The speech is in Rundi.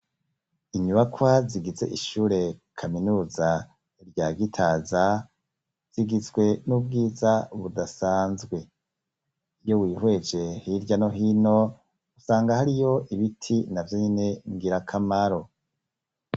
Inyubakwa, zigize ishure kaminuza, rya Gitaza, zigizwe n'ubwiza budasanzwe; iyo wihweje, hirya no hino, usanga hariyo ibiti, na vyonyene, ngirakamaro.